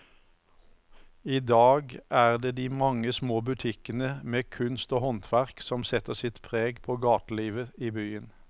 I dag er det de mange små butikkene med kunst og håndverk som setter sitt preg på gatelivet i byen.